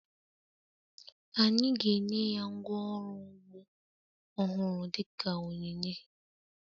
Anyị ga-enye ya ngwá ọrụ ugbo ọhụrụ dị ka onyinye